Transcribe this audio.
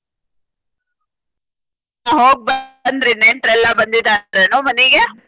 ಹೋಗ ಬಂದ್ರಿ ನೆಂಟ್ರಯೆಲ್ಲಾ ಬಂದಿದಾರೆನೊ ಮನಿಗೆ?